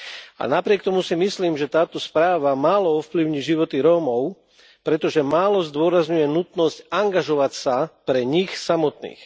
A napriek tomu si myslím, že táto správa málo ovplyvní životy Rómov, pretože málo zdôrazňuje nutnosť angažovať sa, pre nich samotných.